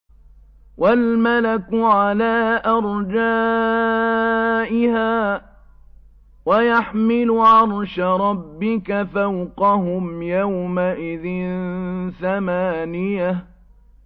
وَالْمَلَكُ عَلَىٰ أَرْجَائِهَا ۚ وَيَحْمِلُ عَرْشَ رَبِّكَ فَوْقَهُمْ يَوْمَئِذٍ ثَمَانِيَةٌ